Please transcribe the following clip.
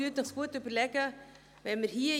Also, überlegen Sie es sich gut!